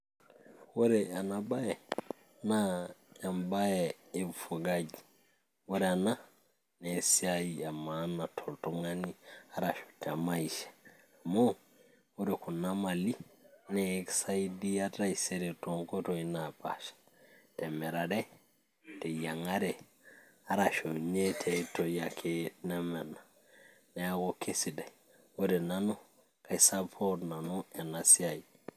ore ena baye naa embaye e ufugaji ore ena naa esiai e maana toltung'ani arashu te maisha amuu ore kuna mali nee ekisaidia taisere toonkoitoi naapasha temirare teyiang'are arashu tiay oitoi ake neme ena neeku kesidai, ore nanu kaiy support nanu ena siai.